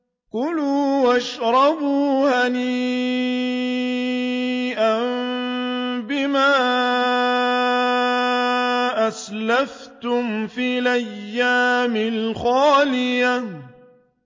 كُلُوا وَاشْرَبُوا هَنِيئًا بِمَا أَسْلَفْتُمْ فِي الْأَيَّامِ الْخَالِيَةِ